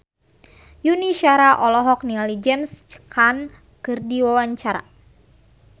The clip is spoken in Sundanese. Yuni Shara olohok ningali James Caan keur diwawancara